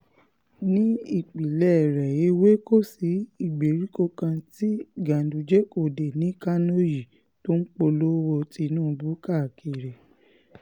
ní ìpínlẹ̀ rẹ̀ èwe kò sí ìgbèríko kan tí ganduje kò dé ní kánò yìí tó ń polówó tìǹbù káàkiri